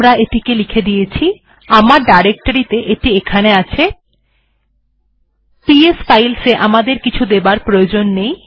এটিকে লিখে দেওয়া হয়েছে